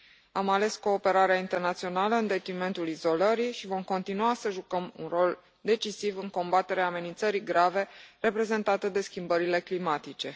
Am ales cooperarea internațională în detrimentul izolării și vom continua să jucăm un rol decisiv în combaterea amenințării grave reprezentate de schimbările climatice.